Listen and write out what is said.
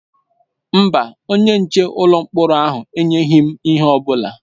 Mba, onye nche n'ụlọ mkpọrọ ahụ enyeghị m ihe ọ bụla.